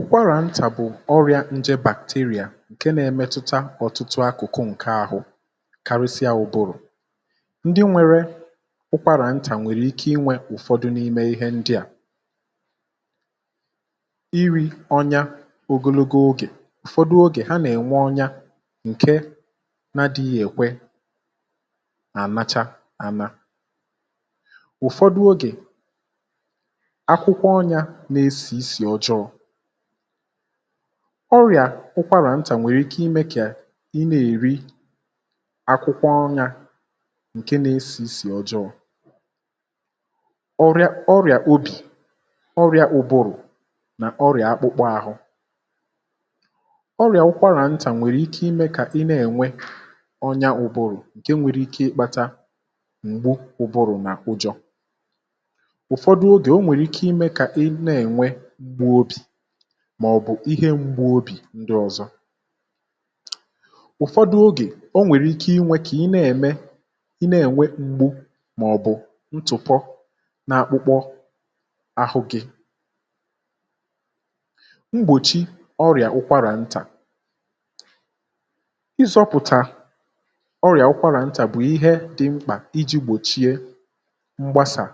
Ụ̀kwàrà ntà bụ̀ ọrị̇ȧ nje bàkteria ǹke nȧ-ėmėtụta ọ̇tụtụ akụ̀kụ ǹke ahụ̇, karịsịa ụbụrụ̀, ndị nwėrė ụkwàrà ntà nwèrè ike inwė ụ̀fọdụ n’ime ihe ndịà nri, ọnya ogologo ogè ụ̀fọdụ ogè ha nà-ènwe ọnya ǹke na dịghị ekwe nà-ànacha àna, um ụ̀fọdụ ogè ọrịà ụkwarà ntà nwèrè ike imė kà ị na-èri akwụkwọ ọnyȧ ǹke na-esì isì ọjọọ, ọrịà ọrịà obì, ọrịà ụbụrụ̀ nà ọrịà akpụkpọ ȧhụ̇, ọrịà ụkwarà ntà nwèrè ike imė kà inė enwe ọnya ụbụ̀rụ̀, ǹke nwere ike ịkpata m̀gbu ụbụrụ̀ nà ụjọ̇, màọ̀bụ̀ ihe mgba obì ndị ọ̀zọ, ụ̀fọdụ ogè o nwèrè ike inwe kà i na-ème i na-ènwe m̀gbu, màọ̀bụ̀ ntụfọ na-akpụkpọ àhụ gị, mgbòchi ọrị̀à ụkwarà ntà ịzọ̇pụ̀tà, ọrị̀à ụkwarà ntà bụ̀ ihe dị mkpà iji̇ gbòchie mgbasà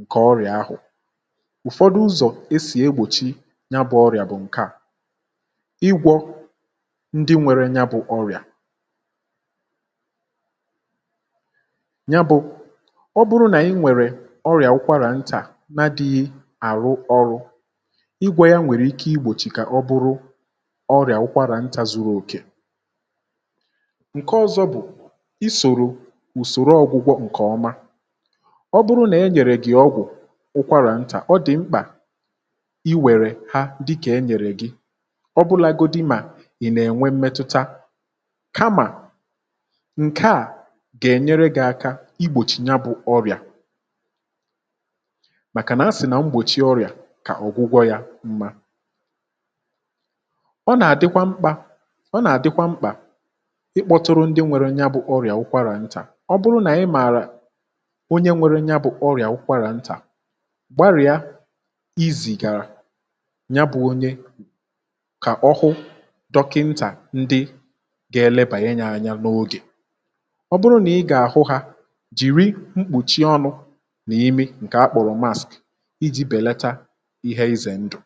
ǹkè ọrị̀à ahụ̀, e si egbòchi ya bụ̇ ọrịà bụ̀ ǹke à igwọ ndị nwere ya, bụ̇ ọrịà ya bụ̇ ọ bụrụ nà i nwèrè ọrịà wụkwarà ntà na dị̇ghị àrụ ọrụ igwė ya, nwèrè ike igbòchì kà ọ bụrụ ọrịà wụkwarà ntà zuru òkè, ǹke ọ̇zọ̇ bụ̀ i sòrò ùsòrò ọgwụgwọ ǹkè ọma, ọ bụrụ nà e nyèrè gị̀ ọgwụ̀ ụkwarà ntà, ọ dị̀ mkpà iwère ha dịkà e nyèrè gị, ọbụlagodi mà è nà-ènwe mmetụta, kama ǹke à gènyere gị̇ aka igbòchi ya bụ̇ ọrị̀à, màkàna a sì nà mgbòchì ya ọrị̀à, kà ọ̀gwụgwọ ya mma, ọ nà-àdịkwa mkpá, ọ nà-àdịkwa mkpà ịkpọtụrụ ndị nwere ya, bụ̇ ọrị̀à ụkwarà ntà, ọ bụrụ nà ị mààrà onye nwere ya, bụ̇ ọrị̀à ụkwarà ntà, ya bụ̇ onye kà ọhụ dọkịntà, ndị gȧ-ėlebà ya nyà anya n’ogè, ọ bụrụ nà ị gà-àhụ hȧ, jìri mkpùchi ọnụ̇ nà imi, ǹkè akpọ̀rọ̀ mask iji̇ bèlacha ihe ịzè ndụ̀.